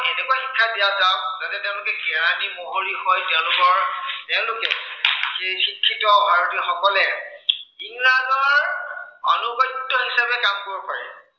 বা যাতে তেওঁলোকে কেৰানী মহৰী হৈ তেওঁলোকৰ তেওঁলোকে এই শিক্ষিত ভাৰতীয়সকলে ইংৰাজৰ অনুগত্য় হিচাপে কাম কৰিব পাৰে।